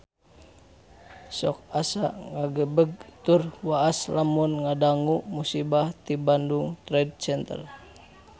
Sok asa ngagebeg tur waas lamun ngadangu musibah di Bandung Trade Center